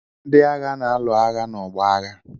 Ndị agha na-alụ agha n'ọgbọ agha.